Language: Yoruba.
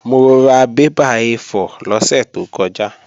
Mo ra bébà A4 lọ́sẹ̀ tó kọjá